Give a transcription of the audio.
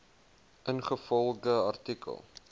ingevolge artikel